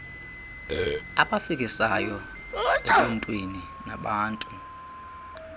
abafikisayo ebuntwini nabantu